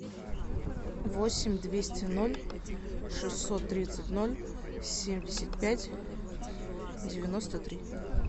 восемь двести ноль шестьсот тридцать ноль семьдесят пять девяносто три